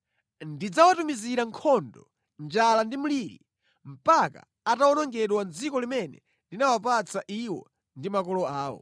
Ndidzawatumizira nkhondo, njala ndi mliri mpaka atawonongedwa mʼdziko limene ndinawapatsa iwo ndi makolo awo.’ ”